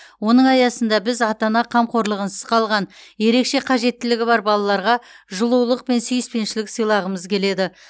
оның аясында біз ата ана қамқорлығынсыз қалған ерекше қажеттілігі бар балаларға жылулық пен сүйіспеншілік сыйлағымыз келеді